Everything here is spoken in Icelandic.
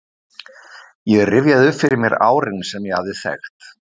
Ég rifjaði upp fyrir mér árin sem ég hafði þekkt